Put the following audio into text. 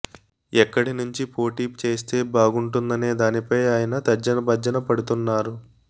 ఎక్కడి నుంచి పోటీ చేస్తే బాగుంటుందనే దానిపై ఆయన తర్జనభర్జన పడుతున్నారు